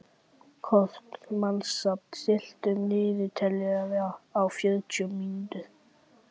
Kort (mannsnafn), stilltu niðurteljara á fjörutíu mínútur.